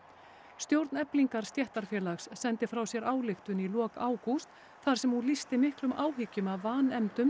stjórn Eflingar stéttarfélags sendi frá sér ályktun í lok ágúst þar sem hún lýsti miklum áhyggjum af vanefndum